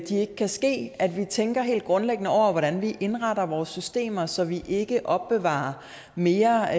ikke kan ske at vi tænker helt grundlæggende over hvordan vi indretter vores systemer så vi ikke opbevarer mere